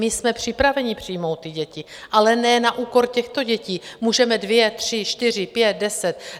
My jsme připraveni přijmout ty děti, ale ne na úkor těchto dětí, můžeme dvě, tři, čtyři, pět, deset...